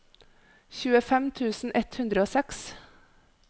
tjuefem tusen ett hundre og seks